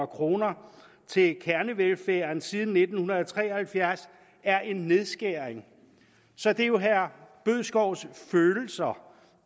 kroner til kernevelfærden siden nitten tre og halvfjerds er en nedskæring så det er jo herre bødskovs følelser